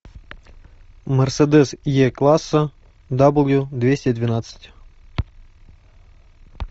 мерседес е класса дабл ю двести двенадцать